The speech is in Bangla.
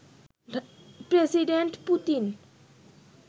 president Putin